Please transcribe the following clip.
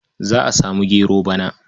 Za a samu gero bana.